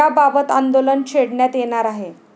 याबाबत आंदोलन छेडण्यात येणार आहे.